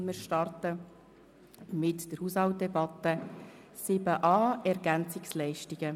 Wir starten mit der Haushaltsdebatte und dem Themenblock 7.a Ergänzungsleistungen.